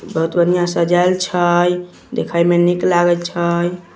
बहुत बन्हिया सजाइल छै देखे में निक लागल छै |